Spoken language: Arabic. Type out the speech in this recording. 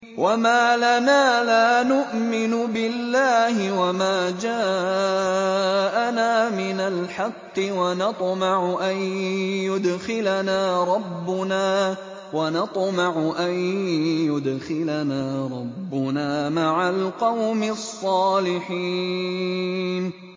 وَمَا لَنَا لَا نُؤْمِنُ بِاللَّهِ وَمَا جَاءَنَا مِنَ الْحَقِّ وَنَطْمَعُ أَن يُدْخِلَنَا رَبُّنَا مَعَ الْقَوْمِ الصَّالِحِينَ